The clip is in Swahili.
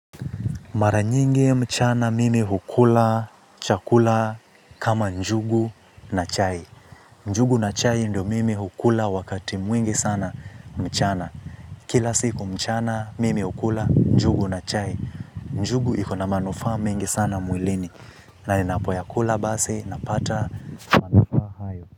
Mara nyingi mchana mimi hukula chakula kama njugu na chai. Njugu na chai ndio mimi hukula wakati mwingi sana mchana. Kila siku mchana mimi hukula, njugu na chai. Njugu ikona manufaa mengi sana mwilini. Na ninapoyakula basi, napata.